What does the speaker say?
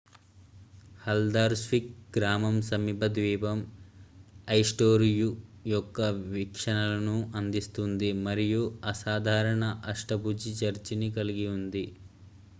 Haldarsvik గ్రామం సమీప ద్వీపం ఐస్టూరోయ్ యొక్క వీక్షణలను అందిస్తుంది మరియు అసాధారణ అష్టభుజి చర్చిని కలిగి ఉంది